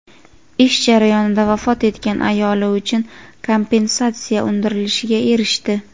ish jarayonida vafot etgan ayoli uchun kompensatsiya undirilishiga erishdi.